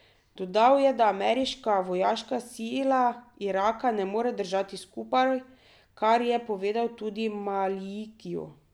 Dodal je, da ameriška vojaška sila Iraka ne more držati skupaj, kar je povedal tudi Malikiju.